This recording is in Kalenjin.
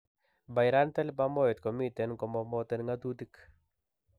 Pyrantel pamoate komiten komomoten ng'atutik